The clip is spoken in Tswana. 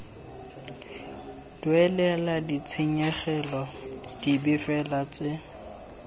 duelelwa ditshenyegelo dipe fela tse